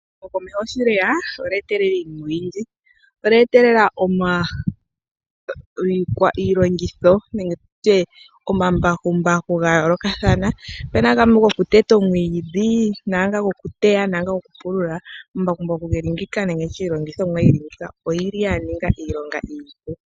Ehumokomeho sho lyeya olya etelela iinima oyindji. Olya etelela iilongitho, nenge tu tye omambakumbaku ga yoolokathana. Opu na gamwe goku teta omwiidhi, naanga gokuteya naanga gokupulula. Omambakumbaku geli ngeyika nenge ndi tye iilongithomwa yili ngeyika oyili ya ninga iilonga iipu.